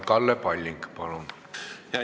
Kalle Palling, palun!